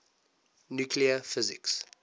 nuclear physics